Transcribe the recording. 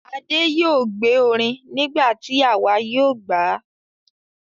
Adé yóò gbé orin nígbà tí àwa yóò gbà á.